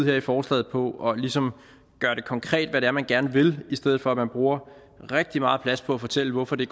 her i forslaget på ligesom at gøre konkret hvad det er man gerne vil i stedet for man bruger rigtig meget plads på at fortælle hvorfor det